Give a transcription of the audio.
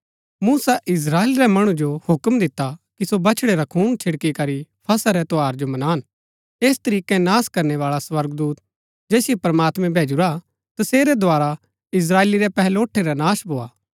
मूसा Israel रै मणु जो हूक्म दिता कि सो बछड़ै रा खून छिड़की करी फसह रै त्यौहार जो मनान ऐस तरीकै नाश करनै बाळा स्वर्गदूत जैसिओ प्रमात्मैं भैजुरा तसेरै द्धारा इस्त्राएली रै पहलोठै रा नाश ना भोआ